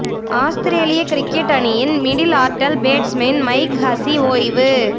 ஆஸ்திரேலிய cricket அணியின் middle order batsman Mike Hussey ஓய்வு